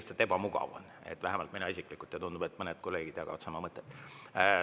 Vähemalt mina isiklikult ja tundub, et mõned kolleegid jagavad sama mõtet.